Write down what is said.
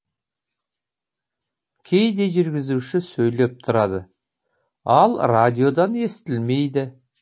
кейде жүргізуші сөйлеп тұрады ал радиодан естілмейді